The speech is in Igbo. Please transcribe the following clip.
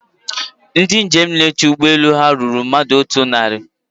Ndị njem na-eche ụgbọelu ha rụrụ mmadụ otu naari